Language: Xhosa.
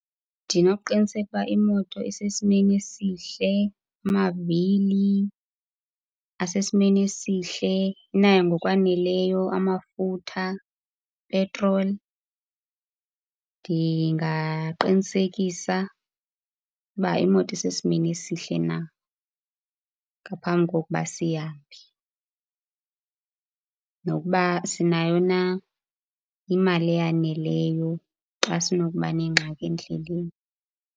Ndinokuqiniseka ukuba imoto isesimeni esihle, amavile asesimeni esihle, inayo ngokwaneleyo amafutha, petrol. Ndingaqinisekisa uba imoto isesimeni esihle na ngaphambi kokuba siya phi. Nokuba sinayo na imali eyaneleyo xa sinokuba nengxaki endleleni.